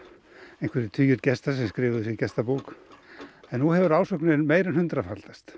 einhverjir tugir gesta sem skrifuðu sig í gestabók en nú hefur ásóknin meira en hundraðfaldast